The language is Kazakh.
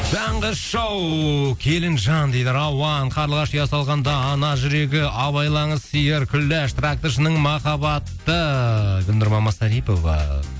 таңғы шоу келінжан дейді рауан қарлығаш ұя салғанда ана жүрегі абайлаңыз сиыр күләш тракторшының махаббаты гүлнұр мамасарипова